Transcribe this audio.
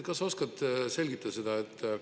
Kas sa oskad selgitada seda?